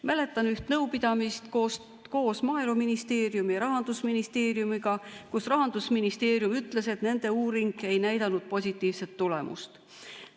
Mäletan üht nõupidamist koos Maaeluministeeriumi ja Rahandusministeeriumiga, kus Rahandusministeerium ütles, et nende uuring ei näidanud positiivset tulemust.